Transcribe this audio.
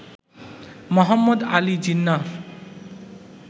Mohammad Ali জিন্নাহর